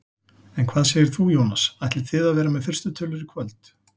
En hvað segir þú Jónas, ætlið þið að vera með fyrstu tölur í kvöld?